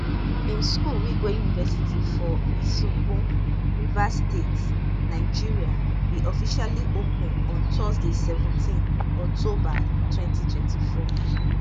im school wigwe university for isiokpo rivers state nigeria bin officially open on thursday seventeenoctober 2024